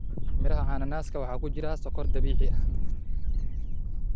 Miraha cananaaska waxaa ku jira sonkor dabiici ah.